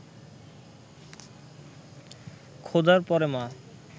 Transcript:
খোদার পরে মা